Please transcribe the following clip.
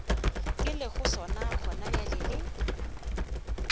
ke lego sona gonabjale le